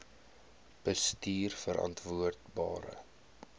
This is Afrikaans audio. bestuurverantwoordbare